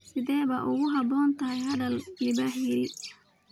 Sidee bay u habboon tahay dhal libaaxa yari?